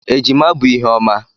Ejima bụ ihe ọma.